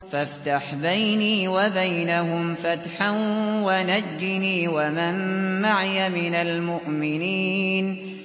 فَافْتَحْ بَيْنِي وَبَيْنَهُمْ فَتْحًا وَنَجِّنِي وَمَن مَّعِيَ مِنَ الْمُؤْمِنِينَ